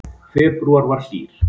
Febrúar var hlýr